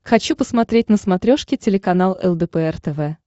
хочу посмотреть на смотрешке телеканал лдпр тв